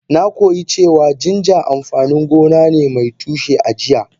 Na koyi cewa ginger amfanin gona ne mai tushe a jiya.